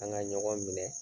An ŋa ɲɔgɔn minɛ